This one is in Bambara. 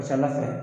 Ka ca ala fɛ